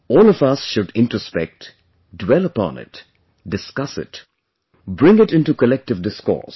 All of us should introspect, dwell upon it, discuss it, bring it into collective discourse